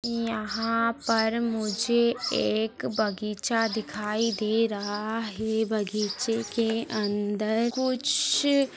यहा पर मुझे एक बगीचा दिखाई दे रहा है बगीचे के अंदर कुछ --